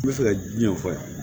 N bɛ fɛ ka diɲɛ fɔ yan